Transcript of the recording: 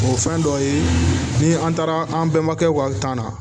O fɛn dɔ ye ni an taara an bɛnbakɛw ka tan na